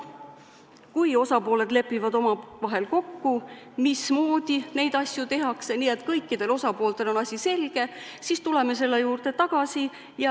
Kui osapooled lepivad omavahel kokku, mismoodi neid asju tehakse, nii et kõikidel osapooltel on asi selge, siis tuleme selle juurde tagasi.